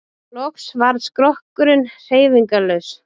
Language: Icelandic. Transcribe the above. Loks varð skrokkurinn hreyfingarlaus.